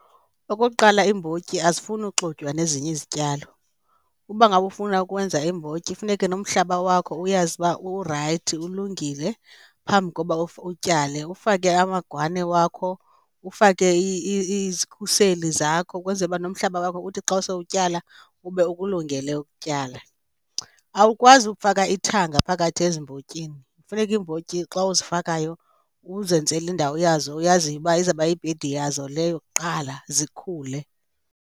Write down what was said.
Okokuqala, iimbotyi azifuni uxutywa nezinye izityalo. Uba ngaba ufuna ukwenza iimbotyi funeke nomhlaba wakho uyazi uba urayithi ulungile phambi koba utyale. Ufake amagwane wakho, ufake izikhuseli zakho ukwenzele uba nomhlaba wakho uthi xa sele utyala ube ukulungele ukutyala. Awukwazi ukufaka ithanga phakathi ezimbotyini. Funeka iimbotyi xa uzifakayayo uzenzela indawo yazo oyaziyo uba izawuba yibhedi yazo leyo kuqala zikhule.